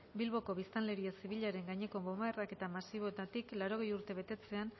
bilboko biztanleria zibilaren gaineko bonbardaketa masiboetatik laurogei urte betetzean